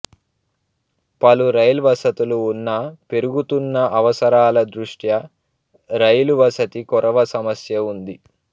పలు రైల్ వసతులు ఉన్నా పెరుగుతున్న అవసరాల దృష్ట్యా రైలు వసతి కొరవ సమస్య ఉంది